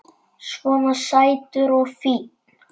Svona sætur og fínn!